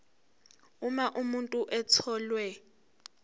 uma umuntu etholwe